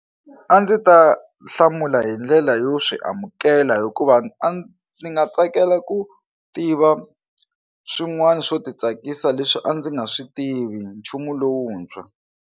A ndzi ta hlamula hi ndlela yo swi amukela hikuva ni nga tsakela ku tiva swin'wana swo titsakisa leswi a ndzi nga swi tivi nchumu lowuntshwa.